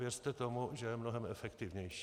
Věřte tomu, že je mnohem efektivnější.